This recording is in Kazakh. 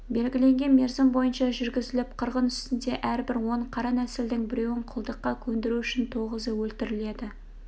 белгіленген мерзім бойынша жүргізіліп қырғын үстінде әрбір он қара нәсілдінің біреуін құлдыққа көндіру үшін тоғызы өлтіріледі